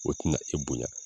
O tina e bonya